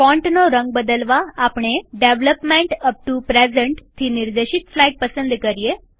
ફોન્ટનો રંગ બદલવાઆપણે development up to પ્રેઝન્ટથી નિર્દેશિત સ્લાઈડ પસંદ કરીએ